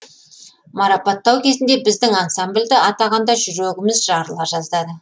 марапаттау кезінде біздің ансамбльді атағанда жүрегіміз жарыла жаздады